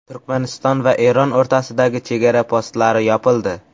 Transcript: Turkmaniston va Eron o‘rtasidagi chegara postlari yopildi.